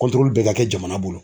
bɛɛ ka kɛ jamana bolo.